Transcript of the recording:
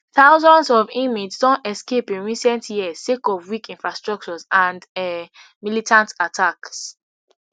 thousands of inmates don escape in resent years sake of weak infrastructures and um militants attacks